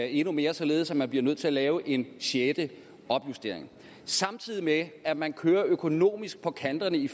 endnu mere således at man bliver nødt til at lave en sjette opjustering samtidig med at man kører økonomisk på kanterne i